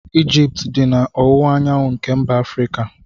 Egypt dị na ọwụwaanyanwụ nke mba Afrika.